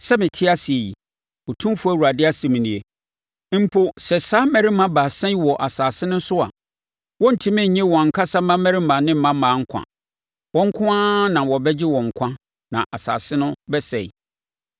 sɛ mete ase yi, Otumfoɔ Awurade asɛm nie, mpo sɛ saa mmarima baasa yi wɔ asase no so a, wɔrentumi nnye wɔn ankasa mmammarima ne mmammaa nkwa. Wɔn nko ara na wɔbɛgye wɔn nkwa na asase no bɛsɛe.